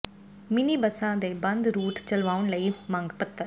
mini ਬੱਸਾਂ ਦੇ ਬੰਦ ਰੂਟ ਚਲਵਾਉਣ ਲਈ ਮੰਗ ਪੱਤਰ